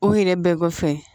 O yɛrɛ bɛɛ kɔfɛ